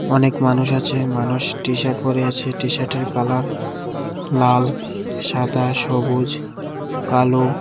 অনেক মানুষ আছে মানুষ টিশার্ট পরে আছে টিশার্টের কালার লাল সাদা সবুজ কালো।